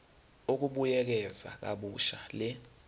ukubuyekeza kabusha le